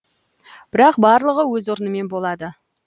бірақ барлығы өз орнымен болады